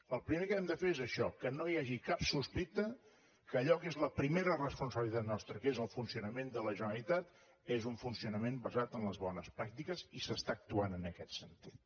el primer que hem de fer és això que no hi hagi cap sospita que allò que és la primera responsabilitat nostra que és el funcionament de la generalitat és un funcionament basat en les bones pràctiques i s’està actuant en aquest sentit